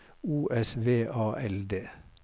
O S V A L D